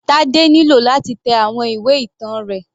Tade nílò láti tẹ àwọn ìwé ìtàn rẹ̀.